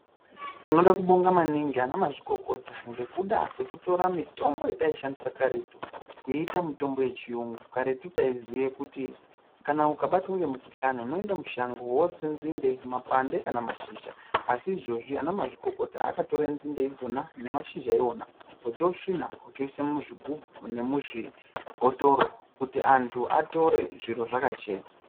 Tinoda kubonga maningi ana mazikokota ngekuda kwekutora mitombo yataishandisa karetu. Kuiita mitombo yechiyungu karetu taiziye kuti kana ukabatwa ngemukuhlani unoende mushango votse nzinde, mapande kana mashizha. Asi izvozvi ana mazvikokota akatore nzinde idzona nemashizha ivona ochosvina ochoise muzvigubhu nemuzvibhotoro kuti antu atore zvinhu zvakachena.